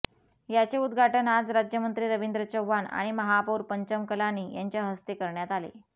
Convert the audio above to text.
याचे उदघाटन आज राज्यमंत्री रविंद्र चव्हाण आणि महापौर पंचम कलानी यांच्या हस्ते करण्यात आले